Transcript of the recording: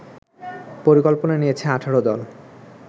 পরিকল্পনা নিয়েছে ১৮ দল